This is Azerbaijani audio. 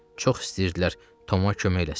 Çox istəyirdilər Toma kömək eləsinlər.